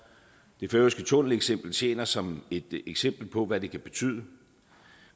det færøske tunneleksempel tjener som et eksempel på hvad det kan betyde